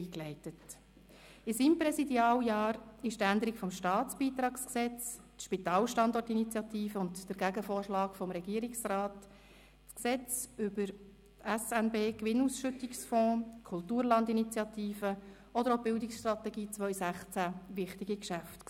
In seinem Präsidialjahr waren die Änderung der Staatsbeitragsgesetzes (StBG), die Spitalstandortinitiative und der Gegenvorschlag des Regierungsrats, das Gesetz über den SNB-Gewinnausschüttungsfonds (SNBFG), die Kulturlandinitiative oder auch die Bildungsstrategie 2016 wichtige Geschäfte.